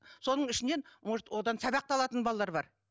соның ішінен может одан сабақ та алатын балалар бар